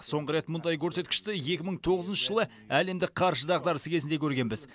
соңғы рет мұндай көрсеткішті екі мың тоғызыншы жылы әлемдік қаржы дағдарысы кезінде көргенбіз